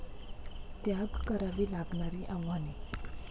त्याग करावी लागणारी आव्हाने